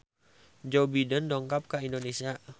Joe Biden dongkap ka Indonesia